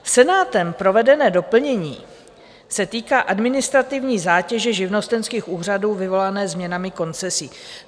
Senátem provedené doplnění se týká administrativní zátěže živnostenských úřadů vyvolané změnami koncesí.